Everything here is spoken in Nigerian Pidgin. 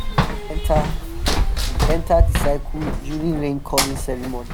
enter the enter the circle during rain calling ceremony.